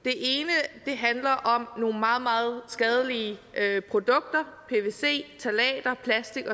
at det handler om nogle meget meget skadelige produkter pvc ftalater plastik